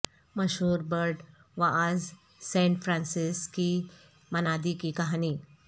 مشہور برڈ واعظ saint Francis کی منادی کی کہانی